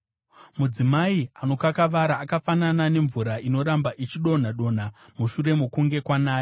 Mudzimai anokakavara akafanana nemvura inoramba ichidonha-donha mushure mokunge kwanaya;